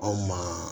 Anw ma